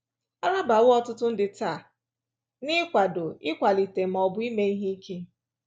A rabawo ọtụtụ ndị taa n’ịkwado, ịkwalite, ma ọ bụ ime ihe ike.